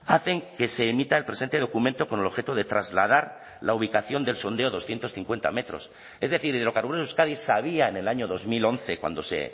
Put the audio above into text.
hacen que se emita el presente documento con el objeto de trasladar la ubicación del sondeo doscientos cincuenta metros es decir hidrocarburos de euskadi sabía en el año dos mil once cuando se